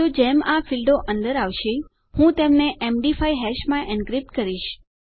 તો જેમ આ ફીલ્ડો અંદર આવશે હું તેમને એમડી 5 હાશ માં એનક્રિપ્ટ કરીશ